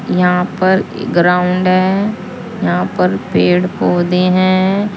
यहां पर ग्राउंड है यहां पर पेड़ पौधे हैं।